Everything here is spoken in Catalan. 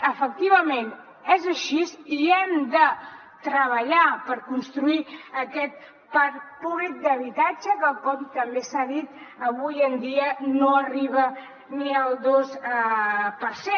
efectivament és així i hem de treballar per construir aquest parc públic d’habitatge que com també s’ha dit avui en dia no arriba ni al dos per cent